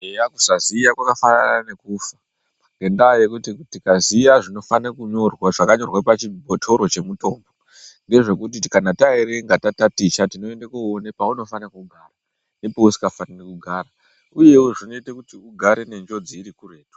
Eya kusaziya kwakafanana nekufa ngendaa yekuti tikaziya zvinofane kunyorwa zvakanyorwa pachibhotoro chemitombo ngezvekuti kana taerenga tataticha tinoende koona paunofanira kugara nepeusingafaniri kugara. Uyewo zvinoite kuti ugare nenjodzi iri kuretu.